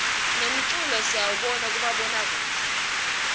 nemkulo siyzbona kumabona kudze